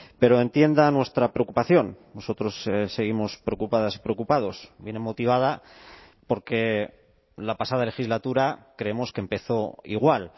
pero entienda nuestra preocupación nosotros seguimos preocupadas y preocupados viene motivada porque la pasada legislatura creemos que empezó igual